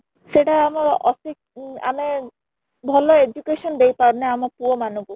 ସେଇଟା ଆମ ଆମେ ଭଲ education ଦେଇ ପାରୁନେ ଆମ ପୁଅମାନଙ୍କୁ